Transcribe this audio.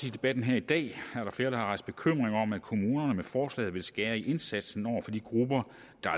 i debatten her i dag er der flere der har rejst bekymringer om at kommunerne med forslaget vil skære i indsatsen over for de grupper